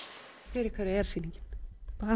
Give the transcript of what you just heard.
fyrir hverja er sýningin bara